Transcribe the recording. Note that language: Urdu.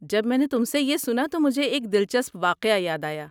جب میں نے تم سے یہ سنا تو مجھے ایک دلچسپ واقعہ یاد آیا۔